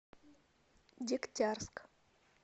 дегтярск